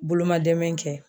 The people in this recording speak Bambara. Bolomadɛmɛn kɛ.